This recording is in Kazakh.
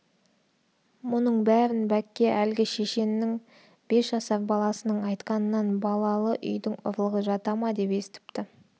мұның бәрін бәкке әлгі шешеннің бес жасар баласының айтқанынан балалы үйдің ұрлығы жата ма естіпті